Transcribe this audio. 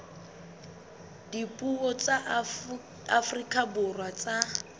dipuo tsa afrika borwa tsa